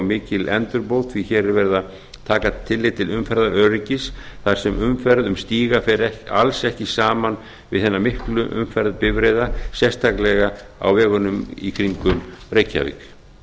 mikil endurbót því að hér er verið að taka tillit til umferðaröryggis þar sem umferð um stíga fer alls ekki saman við hina miklu umferð bifreiða sérstaklega á vegunum í kringum reykjavík